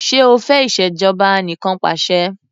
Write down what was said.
Ṣé o fẹ́ ìṣèjọba anìkanpàṣẹ?